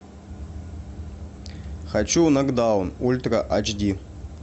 хочу нокдаун ультра ач ди